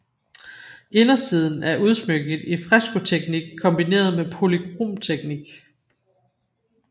Indersiden er udsmykket i frescoteknik kombineret med polycromteknik